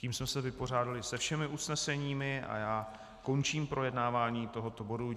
Tím jsme se vypořádali se všemi usneseními a já končím projednávání tohoto bodu.